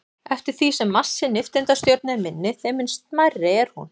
Eftir því sem massi nifteindastjörnu er minni, þeim mun smærri er hún.